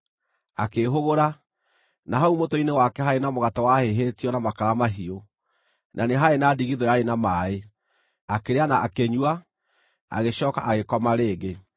Akĩĩhũgũra, na hau mũtwe-inĩ wake haarĩ na mũgate wahĩhĩtio na makara mahiũ, na nĩ haarĩ na ndigithũ yarĩ na maaĩ. Akĩrĩa na akĩnyua, agĩcooka agĩkoma rĩngĩ.